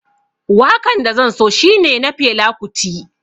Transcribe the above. Wakan da zan so shine na Fela Kuti